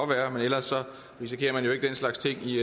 være men ellers risikerer man jo ikke den slags ting i